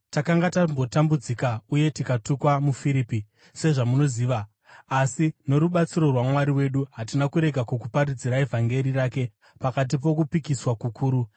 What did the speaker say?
Takanga tambotambudzika uye tikatukwa muFiripi, sezvamunoziva, asi norubatsiro rwaMwari wedu hatina kurega kukuparidzirai vhangeri rake pakati pokupikiswa kukuru.